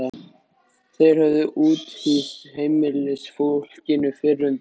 Þeir höfðu úthýst heimilisfólkinu fyrr um daginn.